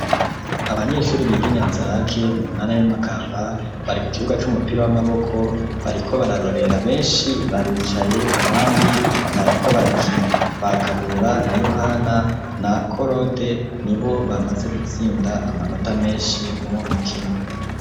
Abanyeshure biga i Nyanza-Lac mu ntara ya Makamba bari ku kibuga c'umupira w'amaboko, bariko bararorera benshi baricaye abandi bariko barakina. Ba Kabura na Yohana na Korode ni bo bamaze gutsinda amanota menshi muri uwo mukino.